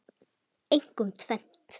Einkum tvennt.